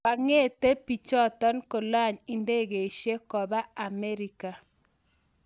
kakeete pichotok kolany indegeishek kopa America